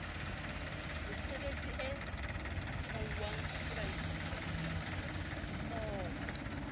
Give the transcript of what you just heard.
mesebetsing e tshwauwang ke baithutimmoho